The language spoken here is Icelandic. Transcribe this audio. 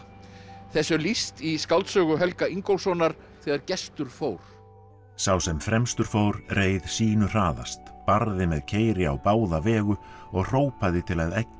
þessu er lýst í skáldsögu Helga Ingólfssonar þegar Gestur fór sá sem fremstur fór reið sýnu hraðast barði með keyri á báða vegu og hrópaði til að eggja